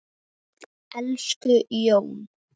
Elsku Jón.